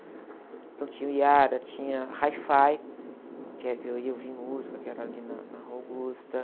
Então tinha o Yara, tinha Hi-Fi, que era o que eu ia ouvir música, que era ali na Augusta.